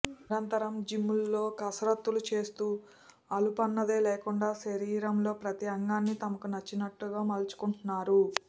నిరంతరం జిమ్ముల్లో కసరత్తులు చేస్తూ అలుపన్నదే లేకుండా శరీరంలో ప్రతి అంగాన్ని తమకు నచ్చినట్టు మలుచుకుంటున్నారు